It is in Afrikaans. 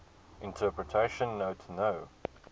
interpretation note no